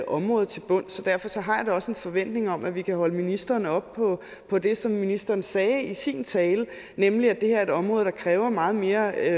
område til bunds så derfor har jeg da også en forventning om at vi kan holde ministeren op på på det som ministeren sagde i sin tale nemlig at det her er et område der grundlæggende kræver meget mere